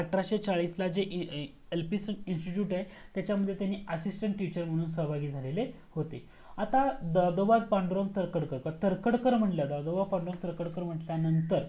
एक एल्पिसोन institute आहे तच्यामध्ये त्याच्यामध्ये assistant teacher महून सहभागी झालेले होते आता दादोबा पांडुरंग तरखडक मंग तरखडकर मंटंल्यानंतर